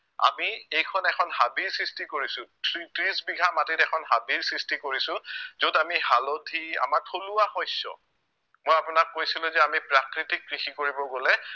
আমি এইখন এখন হাবিৰ সৃষ্টি কৰিছো ত্ৰি ত্ৰিছ বিঘা মাটিত এখন হাবিৰ সৃষ্টি কৰিছো যত আমি হালধি আমাৰ থলুৱা শস্য় মই আপোনাক কৈছিলো যে আমি প্ৰাকৃতিক কৃষি কৰিব গলে